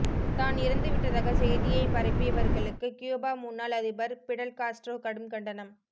தான் இறந்து விட்டதாக செய்தியை பரப்பியவர்களுக்கு கியூபா முன்னாள் அதிபர் பிடல் காஸ்ட்ரோ கடும் கண்டனம்